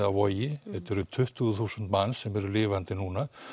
á Vogi þetta er tuttugu þúsund manns sem eru lifandi núna